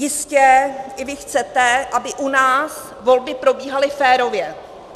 Jistě i vy chcete, aby u nás volby probíhaly férově.